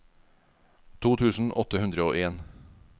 to tusen åtte hundre og en